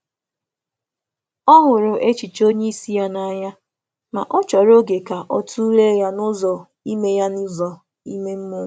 Ọ hụrụ echiche onye isi ya n’anya, ma ọ chòrò oge ka ọ tụlee ya n’ụzọ ime mmụọ.